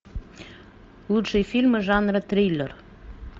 лучшие фильмы жанра триллер